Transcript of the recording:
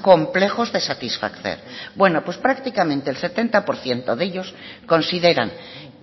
complejos de satisfacer bueno pues prácticamente el setenta por ciento de ellos consideran